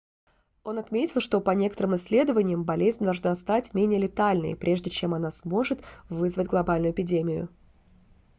он отметил что по некоторым исследованиям болезнь должна стать менее летальной прежде чем она сможет вызвать глобальную эпидемию